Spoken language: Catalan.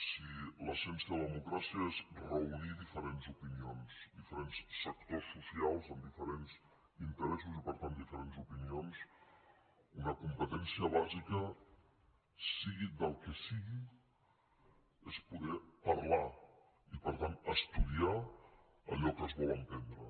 si l’essència de la democràcia és reunir diferents opinions diferents sectors socials amb diferents interessos i per tant diferents opinions una competència bàsica sigui del que sigui és poder parlar i per tant estudiar allò que es vol emprendre